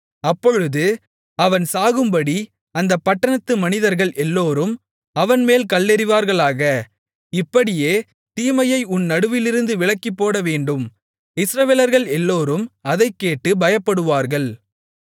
அப்பொழுது அவன் சாகும்படி அந்தப் பட்டணத்து மனிதர்கள் எல்லோரும் அவன்மேல் கல்லெறிவார்களாக இப்படியே தீமையை உன் நடுவிலிருந்து விலக்கிப்போடவேண்டும் இஸ்ரவேலர்கள் எல்லோரும் அதைக் கேட்டு பயப்படுவார்கள்